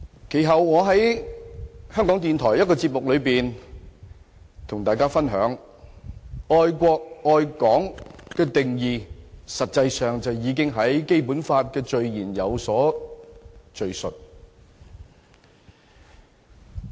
其後，我在香港電台的一個節目中與大家分享，愛國愛港的定義其實已在《基本法》的序言有所敘述。